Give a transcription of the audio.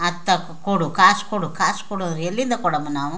ಅದ್ ತಕೊ ಕೊಡು ಕಾಸು ಕೊಡು ಕಾಸು ಕೊಡು ಅಂದ್ರೆ ಎಲ್ಲಿಂದ ಕೊಡೋಮಾ ನಾವು --